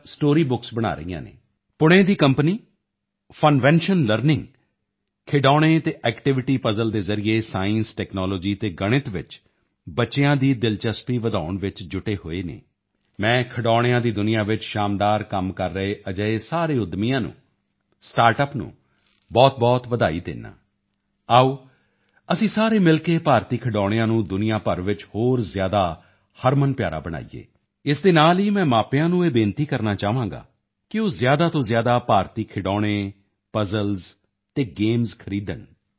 story books ਬਣਾ ਰਹੀਆਂ ਹਨ ਪੁਣੇ ਦੀ ਕੰਪਨੀ ਫਨਵੇਨਸ਼ਨ ਲਰਨਿੰਗ ਖਿਡੌਣੇ ਅਤੇ ਐਕਟੀਵਿਟੀ ਪਜ਼ਲ ਦੇ ਜ਼ਰੀਏ ਸਾਇੰਸ ਟੈਕਨੋਲੋਜੀ ਅਤੇ ਗਣਿਤ ਵਿੱਚ ਬੱਚਿਆਂ ਦੀ ਦਿਲਚਸਪੀ ਵਧਾਉਣ ਚ ਜੁਟੇ ਹੋਏ ਹਨ ਮੈਂ ਖਿਡੌਣਿਆਂ ਦੀ ਦੁਨੀਆ ਵਿੱਚ ਸ਼ਾਨਦਾਰ ਕੰਮ ਕਰ ਰਹੇ ਅਜਿਹੇ ਸਾਰੇ ਉੱਦਮੀਆਂ ਨੂੰ ਸਟਾਰਟਅੱਪ ਨੂੰ ਬਹੁਤਬਹੁਤ ਵਧਾਈ ਦਿੰਦਾ ਹਾਂ ਆਓ ਅਸੀਂ ਸਾਰੇ ਮਿਲ ਕੇ ਭਾਰਤੀ ਖਿਡੌਣਿਆਂ ਨੂੰ ਦੁਨੀਆ ਭਰ ਵਿੱਚ ਹੋਰ ਜ਼ਿਆਦਾ ਹਰਮਨਪਿਆਰਾ ਬਣਾਈਏ ਇਸ ਦੇ ਨਾਲ ਹੀ ਮੈਂ ਮਾਪਿਆਂ ਨੂੰ ਇਹ ਬੇਨਤੀ ਕਰਨਾ ਚਾਹਾਂਗਾ ਕਿ ਉਹ ਜ਼ਿਆਦਾ ਤੋਂ ਜ਼ਿਆਦਾ ਭਾਰਤੀ ਖਿਡੌਣੇ ਪਜ਼ਲ ਅਤੇ ਗੇਮਸ ਖਰੀਦਣ